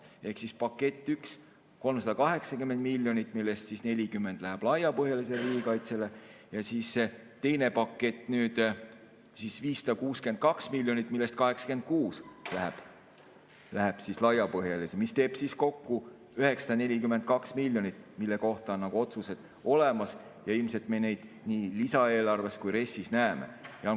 Ehk esimene pakett, 380 miljonit, millest 40 läheb laiapõhjalisele riigikaitsele, teine pakett, 562 miljonit, millest 86 läheb laiapõhjalisele, mis teeb kokku 942 miljonit, mille kohta on otsused olemas ja ilmselt me neid näeme nii lisaeelarves kui ka RES‑is.